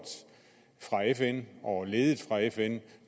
og ledet fra fns